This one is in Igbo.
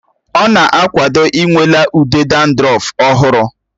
Ọ na-akwado ịnwale ude dandrọf ọhụrụ